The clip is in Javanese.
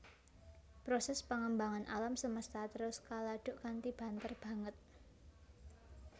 Prosès pangembangan alam semesta terus kaladuk kanthi banter banget